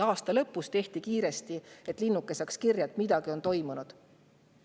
Aasta lõpus tehti kiiresti, et saada linnuke kirja, et midagi on toimunud.